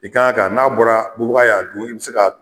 I kan ka n'a bɔra bubaga y'a dun i bi se ka.